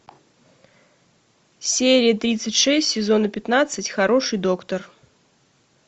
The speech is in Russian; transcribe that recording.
серия тридцать шесть сезона пятнадцать хороший доктор